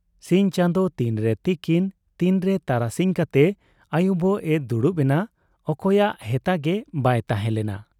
ᱥᱤᱧ ᱪᱟᱸᱫᱚ ᱛᱤᱱᱨᱮ ᱛᱤᱠᱤᱱ ᱛᱤᱱᱨᱮ ᱛᱟᱨᱟᱥᱤᱧ ᱠᱟᱛᱮ ᱟᱹᱭᱩᱵᱚᱜ ᱮ ᱫᱩᱲᱩᱵ ᱮᱱᱟ, ᱚᱠᱚᱭᱟᱜ ᱦᱮᱛᱟᱜᱮ ᱵᱟᱭ ᱛᱟᱦᱮᱸ ᱞᱮᱱᱟ ᱾